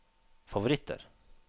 favoritter